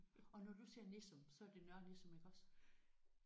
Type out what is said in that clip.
Og når du siger Nissum så er det Nørre Nissum iggås?